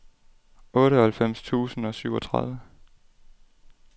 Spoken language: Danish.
otteoghalvfems tusind og syvogtredive